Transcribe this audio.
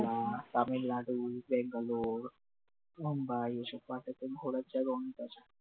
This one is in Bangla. না না তামিলনাড়ু, বেঙ্গালুর, মুম্বাই এসব ঘোরার জায়গা অনেক আছে